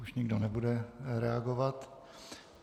Už nikdo nebude reagovat.